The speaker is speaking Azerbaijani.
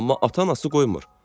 Amma ata-anası qoymur.